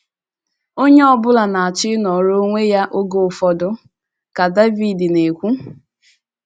“ Onye ọ bụla na - achọ ịnọrọ onwe ya oge ụfọdụ, ” ka David na - ekwu.